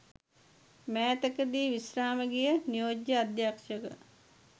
මෑතකදී විශ්‍රාම ගිය නියෝජ්‍ය අධ්‍යක්‍ෂ